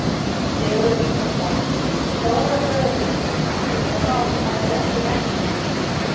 Sigurður Ingólfsson: Stóra gröfin, áttu von á að finna bók í henni?